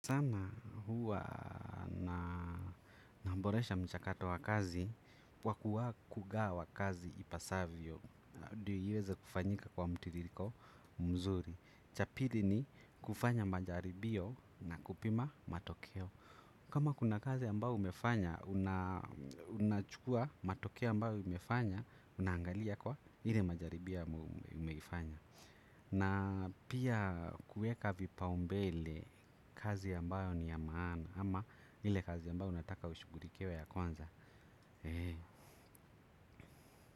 Sana huwa naboresha mchakato wa kazi kwa kugawa kazi ipasavyo. Ndiyo iweze kufanyika kwa mtiririko mzuri. Cha pili ni kufanya majaribio na kupima matokeo. Kama kuna kazi ambayo umefanya unachukua matokeo ambayo umefanya, unaangalia kwa ile majaribio umeifanya na pia kuweka vipaumbele kazi ambayo ni ya maana ama ile kazi ambayo ninataka ishughulikiwe ya kwanza.